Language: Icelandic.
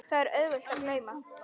Það er auðvelt að gleyma.